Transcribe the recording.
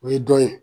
O ye dɔn ye